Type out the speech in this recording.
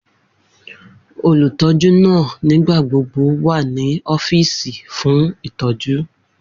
Olutọju naa nigbagbogbo wa ni ọfiisi fun itọju